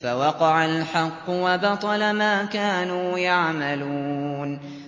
فَوَقَعَ الْحَقُّ وَبَطَلَ مَا كَانُوا يَعْمَلُونَ